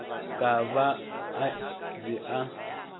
ka ba a be a